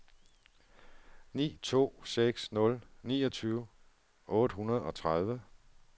ni to seks nul niogtyve otte hundrede og tredive